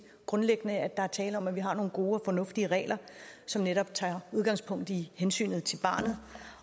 grundlæggende mener at der er tale om at vi har nogle gode og fornuftige regler som netop tager udgangspunkt i hensynet til barnet